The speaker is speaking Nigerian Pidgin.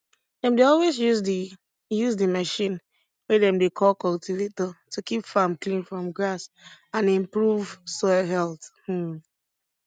dem dey always use the use the machine wey dem dey call cultivator to keep farm clean from grass and improve soil health um